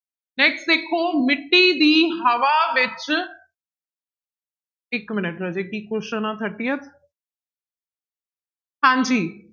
Next ਦੇਖੋ ਮਿੱਟੀ ਦੀ ਹਵਾ ਵਿੱਚ ਇੱਕ minute ਰਾਜੇ ਕੀ question ਆਂ thirtieth ਹਾਂਜੀ